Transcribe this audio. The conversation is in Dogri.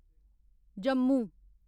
जम्मू